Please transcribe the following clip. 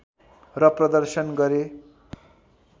र प्रदर्शन गरे